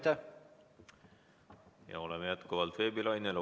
Me oleme jätkuvalt veebilainel.